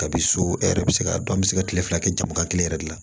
Kabi so e yɛrɛ bɛ se k'a dɔn an bɛ se ka kile fila kɛ jamuba kelen yɛrɛ de la